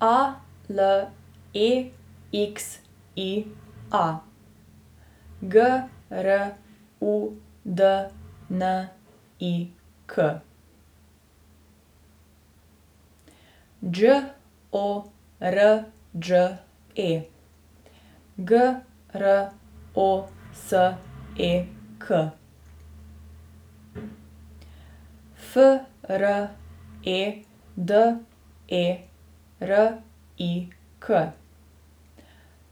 A L E X I A, G R U D N I K; Đ O R Đ E, G R O S E K; F R E D E R I K,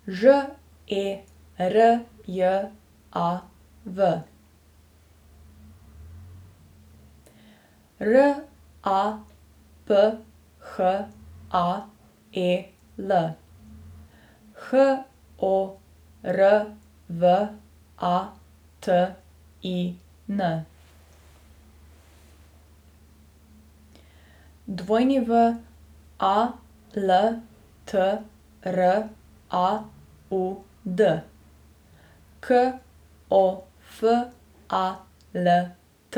Ž E R J A V; R A P H A E L, H O R V A T I N; W A L T R A U D, K O F A L T;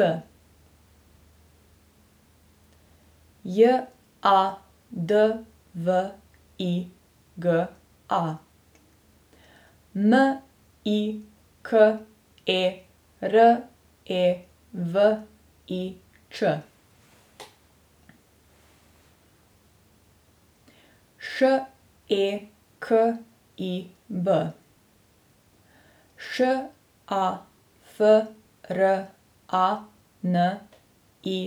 J A D V I G A, M I K E R E V I Č; Š E K I B, Š A F R A N I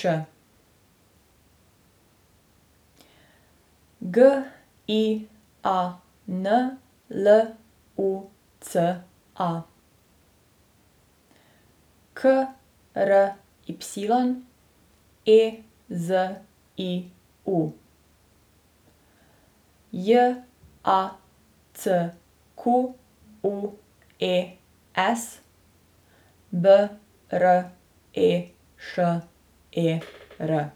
Ć; G I A N L U C A, K R Y E Z I U; J A C Q U E S, B R E Š E R.